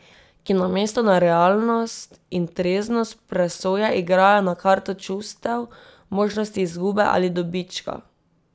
Ki namesto na realnost in treznost presoje igrajo na karto čustev, možnosti izgube ali dobička.